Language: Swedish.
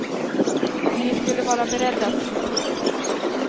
Vi skulle vara beredda att slå till.